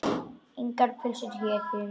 Engar pylsur hér, því miður.